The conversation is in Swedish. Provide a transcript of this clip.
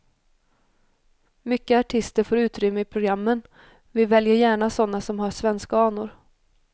Mycket artister får utrymme i programmen, vi väljer gärna sådana som har svenska anor.